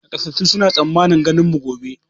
Nakasassun suna tsammanin ganin mu gobe